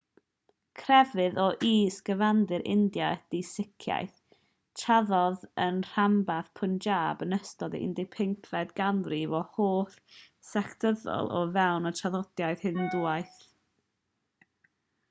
crefydd o is-gyfandir india ydi siciaeth tarddodd yn rhanbarth punjab yn ystod y 15fed ganrif o hollt sectyddol o fewn y traddodiad hindŵaidd